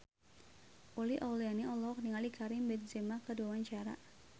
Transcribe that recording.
Uli Auliani olohok ningali Karim Benzema keur diwawancara